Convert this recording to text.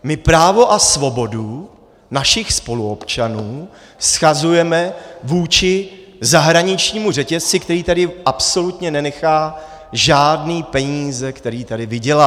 My právo a svobodu našich spoluobčanů shazujeme vůči zahraničnímu řetězci, který tady absolutně nenechá žádné peníze, které tady vydělá.